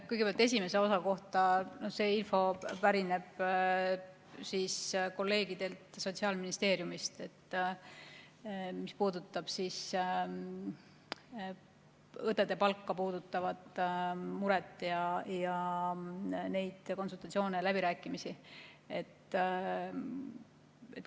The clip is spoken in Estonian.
Kõigepealt esimese osa kohta, see info pärineb kolleegidelt Sotsiaalministeeriumis, see, mis puudutab õdede palgaga seotud muret ja neid konsultatsioone, läbirääkimisi.